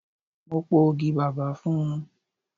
Mo po ogi bàbà fún un.